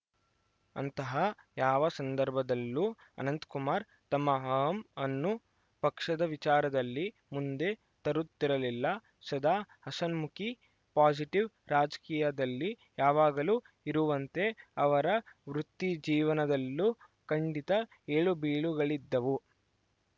ಅಂತಹ ಯಾವ ಸಂದರ್ಭದಲ್ಲೂ ಅನಂತಕುಮಾರ್‌ ತಮ್ಮ ಅಹಂ ಅನ್ನು ಪಕ್ಷದ ವಿಚಾರದಲ್ಲಿ ಮುಂದೆ ತರುತ್ತಿರಲಿಲ್ಲ ಸದಾ ಹಸನ್ಮುಖಿ ಪಾಸಿಟಿವ್‌ ರಾಜಕೀಯದಲ್ಲಿ ಯಾವಾಗಲೂ ಇರುವಂತೆ ಅವರ ವೃತ್ತಿಜೀವನದಲ್ಲೂ ಖಂಡಿತ ಏಳುಬೀಳುಗಳಿದ್ದವು